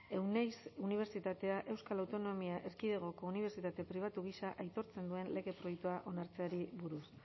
euneiz unibertsitatea euskal autonomia erkidegoko unibertsitate pribatu gisa aitortzen duen lege proiektua onartzeari buruz